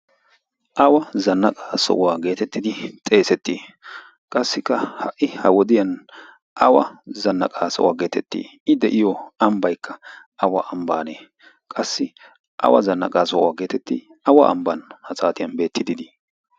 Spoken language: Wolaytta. awa zannaqaa so'waa geetettidi xeesettii qassikka ha'i ha wodiyan awa zannaqaa sohuwaa geetettii i de'iyo ambbaikka awa ambbaanee qassi awa zannaqaa sohuwaa geetettii awa ambban ha saatiyan beettidiidii?